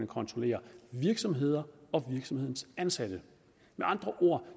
kontrollere virksomheden og virksomhedens ansatte med andre ord